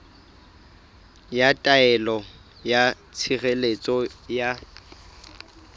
ya taelo ya tshireletso ya